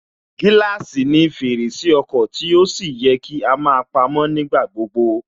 Gíláàsì ni fèrèsé ọkọ̀ tí ó sì yẹ kí á máa pamó nígbà gbogbo